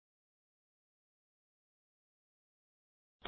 ਇਹ ਹੋ ਗਇਆ ਹੈ